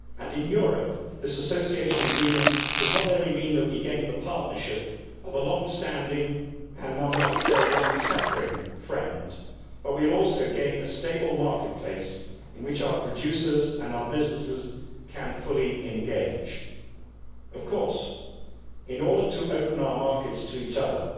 In Europe this Association Agreement means not only that we gain the partnership of a long standing and, one might say, long suffering friend but also that we will gain a stable marketplace in which our producers and our businesses can fully engage. Of course, in order to open our markets to each other